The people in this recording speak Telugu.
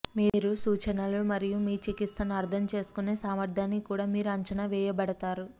మీరు సూచనలను మరియు మీ చికిత్సను అర్థం చేసుకునే సామర్థ్యానికి కూడా మీరు అంచనా వేయబడతారు